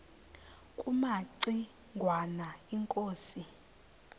kumaci ngwana inkosi